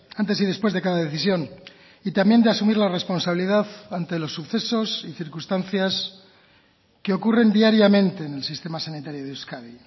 antes y después de cada decisión y también de asumir la responsabilidad ante los sucesos y circunstancias que ocurren diariamente en el sistema sanitario de euskadi